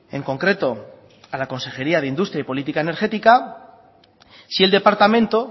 en concreto a la consejería de industria y política energética si el departamento